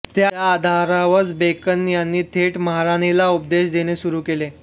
त्या आधारावरच बेकन यांनी थेट महाराणीला उपदेश देणे सुरू केले